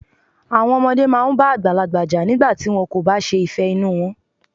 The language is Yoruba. Àwọn ọmọdé máa ń bá àgbàlagbà jà nígbà tí wọ́n kò bá ṣe ìfẹ́ inú wọn.